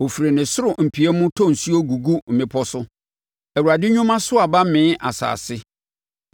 Ɔfiri ne soro mpia mu tɔ nsuo gugu mmepɔ so; Awurade nnwuma so aba mee asase.